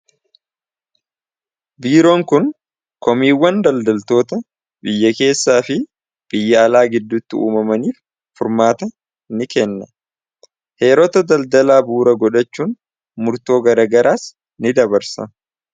Biiroon kun komiiwwan daldaltoota biyya keessaa fi biyya alaa giddutti uumamaniif furmaata ni kenna heeroota daldalaa buura godhachuun murtoo garagaraas ni dabarsa.